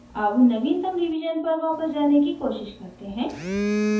अब नवीनतम रिवीजन पर वापस जाने की कोशिश करते हैं